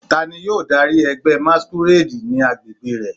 Tani yoo dari ẹgbẹ masquerade ni agbegbe rẹ?